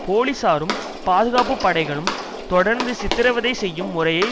போலீசாரும் பாதுகாப்பு படைகளும் தொடர்ந்து சித்திரவதை செய்யும் முறையை